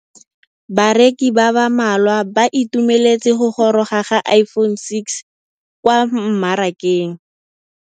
Bareki ba ba malwa ba ituemeletse go gôrôga ga Iphone6 kwa mmarakeng.